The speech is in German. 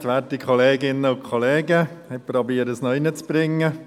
Ich versuche es noch hinzukriegen.